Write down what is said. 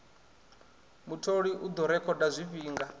mutholi u ḓo rekhoda zwifhinga